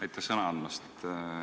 Aitäh sõna andmast!